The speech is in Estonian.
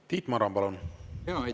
Tiit Maran, palun!